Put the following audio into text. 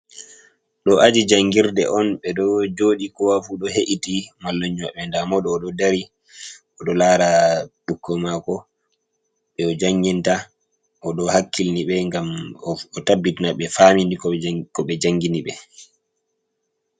Ɗo aji jangirde on ɓeɗo joɗi kowafu ɗo he’iti mallumjo maɓɓe, nɗamoɗo o ɗo dari o ɗo lara biƙƙoi mako ɓe ojanginta odo hakkilni ɓe ngam o tabitina ɓe fami ko ɓe jangini ɓe.